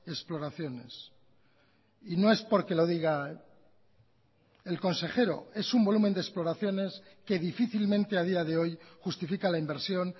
exploraciones y no es porque lo diga el consejero es un volumen de exploraciones que difícilmente a día de hoy justifica la inversión